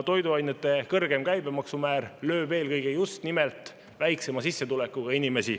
Toiduainete kõrgem käibemaksumäär lööb eelkõige just nimelt väiksema sissetulekuga inimesi.